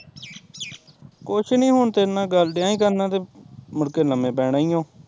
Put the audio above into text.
ਕੁਸ਼ ਨੀ ਹੁਣ ਤੇਰੇ ਨਾਲ਼ ਗੱਲ ਡਿਯਾ ਸੀ ਕਰਨ ਤੇ ਮੁੜ ਕੇ ਲਮੇ ਪੈਣਾ ਈ ਓ